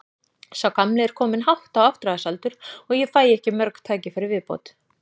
Sá gamli er kominn hátt á áttræðisaldur og ég fæ ekki mörg tækifæri í viðbót.